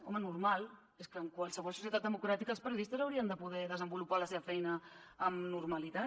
home normal és que en qualsevol societat democràtica els periodistes haurien de poder desenvolupar la seva feina amb normalitat